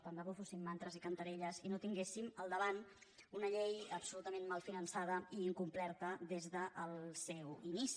tant de bo fossin mantres i cantarelles i no tinguéssim al davant una llei absolutament mal finançada i incomplerta des del seu inici